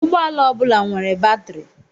Ụgbọala ọ bụla nwere batrị.